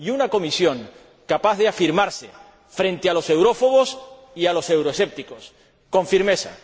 Y una Comisión capaz de afirmarse, frente a los eurófobos y a los euroescépticos, con firmeza